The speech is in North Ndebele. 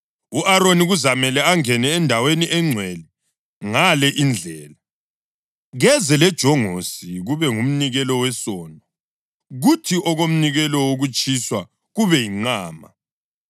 U-Aroni kuzamele angene endaweni engcwele ngale indlela: Keze lejongosi, kube ngumnikelo wesono, kuthi okomnikelo wokutshiswa, kube yinqama.